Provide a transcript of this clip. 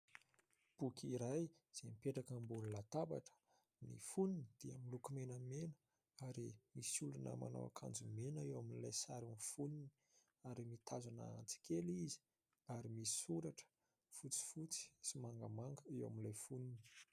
Boky iray izay mipetraka ambony latabatra, ny fonony dia miloko menamena ary misy olona manao akanjo mena eo amin'ilay sarin'ny fonony ary mitazona antsy kely izy ary misy soratra fotsifotsy sy mangamanga eo amin'ilay fonony.